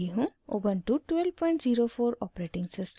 Ubuntu 1204 operating system